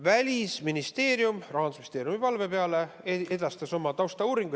Välisministeerium edastas Rahandusministeeriumi palve peale oma taustauuringu.